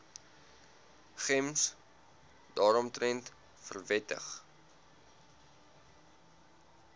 gems daaromtrent verwittig